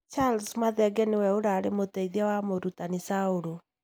Charles Mathenge nĩwe ũrarĩ mũteithia wa mũrutani Saul.